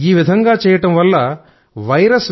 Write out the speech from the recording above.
ఈ విధంగా చేయడం వల్ల వైరస్